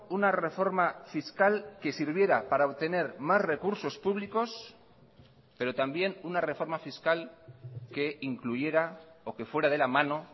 una reforma fiscal que sirviera para obtener más recursos públicos pero también una reforma fiscal que incluyera o que fuera de la mano